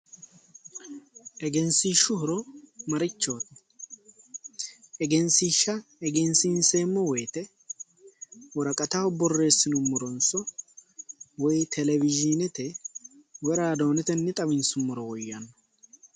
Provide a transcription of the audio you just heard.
Egensiishshu horo marichooti egensiishsha egensiinseemmo wooyte woraqataho borreessinummoronso woy telezhinete woy raadoonetenni xawinsummmoro woyyanno